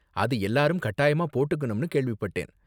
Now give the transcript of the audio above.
அது எல்லாரும் கட்டாயமா போட்டுக்கனும்னு கேள்விப்பட்டேன்.